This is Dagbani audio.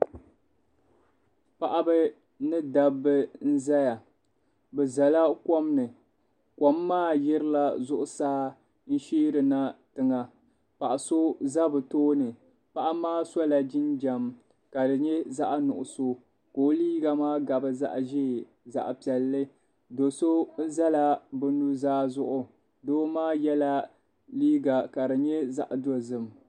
Paɣiba ni dabba n zaya bi zala kom ni kom maa yirila zuɣusaa n shɛarina tiŋa paɣi so za bi tooni paɣi maa sola jinjam kadi yɛ zaɣi nuɣiso ka o liiga maa gabi zaɣi ʒee zaɣi piɛlli do so zala bi nuzaa zuɣu doo maa yɛla liiga kadi yɛ zaɣi dozim